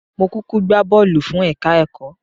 Mó kúkú gbá bọ́ọ̀lù fún ẹ̀ka-ẹ̀kọ́